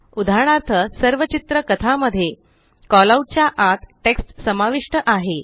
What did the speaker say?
उदाहरणार्थ सर्व चित्र कथा मध्ये कॉलआउट च्या आत टेक्स्ट समाविष्ट आहे